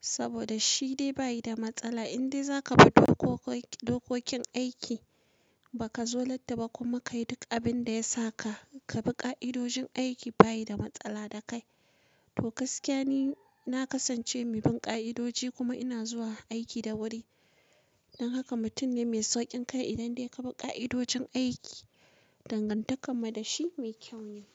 Saboda shi dai bayi da matsala in dai za ka bi dokokin aiki ba ka zo latti ba kuma ka yi duk abin da ya sa ka bi ka'idojin aiki aiki baya da matsala da kai. To gaskiya ni na kasance mai bin ka'idoji kuma ina zuwa aiki da wuri. Dan haka mutum ne mai saukin kai idan dai ka bi ka'idojin aiki. Dangantakar mu da shi mai kyau ne.